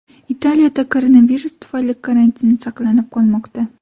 Italiyada koronavirus tufayli karantin saqlanib qolmoqda.